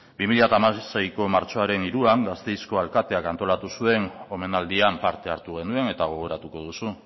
bi mila hamaseiko martxoaren hiruan gasteizko alkateak antolatu zuen omenaldian parte hartu genuen eta gogoratuko duzu